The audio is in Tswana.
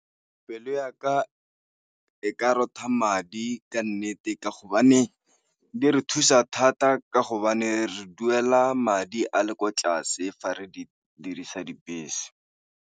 Pelo ya ka e ka rotha madi ka nnete ka hobane di re thusa thata ka hobane re duela madi a le kwa tlase fa re di dirisa dibese.